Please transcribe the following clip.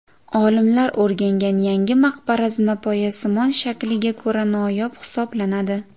Olimlar o‘rgangan yangi maqbara zinapoyasimon shakliga ko‘ra noyob hisoblanadi.